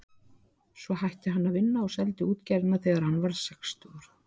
Svo hætti hann að vinna og seldi útgerðina þegar hann varð sextugur.